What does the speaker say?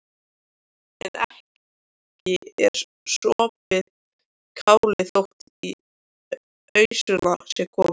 En ekki er sopið kálið þótt í ausuna sé komið.